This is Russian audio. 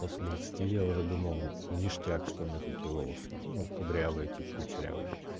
после двадцати я уже думал ништяк что у меня такие волосы ну кудрявые тип кучерявые